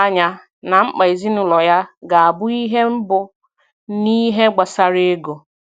Ọ mere ka o doo ànyá na mkpa ezinụlọ ya ga-abụ ihe mbụ n’ihe gbasara ego.